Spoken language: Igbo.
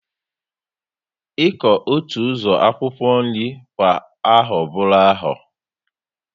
Iku otu uzo akwukwo nri kwa aho buru aho